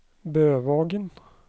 Bøvågen